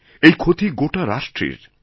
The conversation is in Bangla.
এই ক্ষতিগোটা রাষ্ট্রের